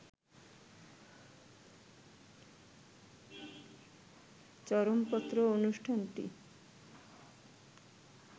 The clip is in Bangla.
চরমপত্র অনুষ্ঠানটি